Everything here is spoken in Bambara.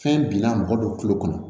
Fɛn binna mɔgɔ dɔ kulo kɔnɔ